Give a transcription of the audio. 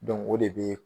o de bɛ